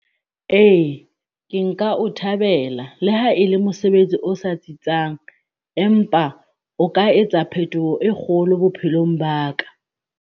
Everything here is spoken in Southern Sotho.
Eya, ke nka o thabela le ha e le mosebetsi o sa tsitsang, empa o ka etsa phetoho e kgolo bophelong ba ka.